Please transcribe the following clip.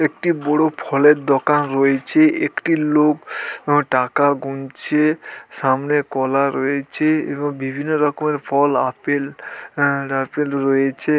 একটি বড় ফলের দোকান রয়েছে | একটি লোক টাকা গুনছে | সামনে কলা রয়েছে এবং বিভিন্ন রকমের ফল আপেল আপেল রয়েছে।